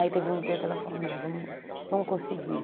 Aí teve um dia que ela falou, não, não consegui.